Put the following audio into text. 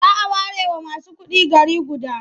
A whole city may be reserved for only the rich.